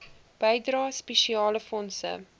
bydrae spesiale fondse